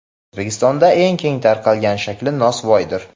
O‘zbekistonda eng keng tarqalgan shakli nosvoydir.